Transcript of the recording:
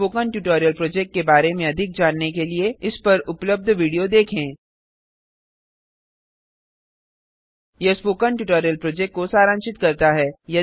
spoken tutorial project के बारे में अधिक जानने के लिए इस पर उपलब्ध वीडियो देखें httpspoken tutorialorgWhat is a Spoken Tutorial यह स्पोकन ट्यूटोरियल प्रोजेक्ट को सारांशित करता है